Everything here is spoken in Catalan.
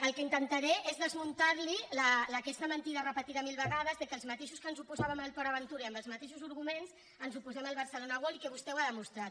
el que intentaré és desmuntar li aquesta mentida repetida mil vegades que els mateixos que ens oposàvem a port aventura i amb els mateixos arguments ens oposem al barcelona world i que vostè ho ha demostrat